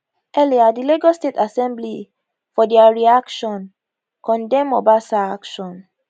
earlier di lagos state assembly for dia reaction condemn obasa action